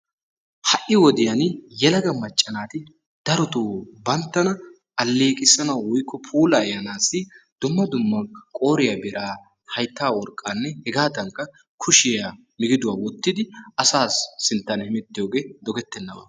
Ha'i wodiyaan yelaga macca naati darotoo banttana alleqissanaw woykko puulayanassi dumma dumma qooriya bira, haytta worqqanne hegadankka kushiya migidduwa wottidi asa sinttan hemettiyooge dogettenaba.